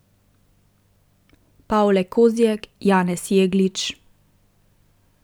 Pavle Kozjek, Janez Jeglič ...